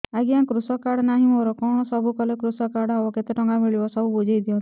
ଆଜ୍ଞା କୃଷକ କାର୍ଡ ନାହିଁ ମୋର କଣ ସବୁ କଲେ କୃଷକ କାର୍ଡ ହବ କେତେ ଟଙ୍କା ମିଳିବ ସବୁ ବୁଝାଇଦିଅନ୍ତୁ